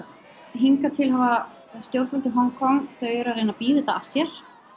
hingað til hafa stjórnvöld í Hong Kong þau eru að reyna að bíða þetta af sér